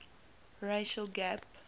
racial gap